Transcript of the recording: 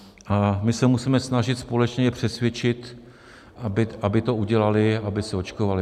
A my se musíme snažit společně je přesvědčit, aby to udělali, aby se očkovali.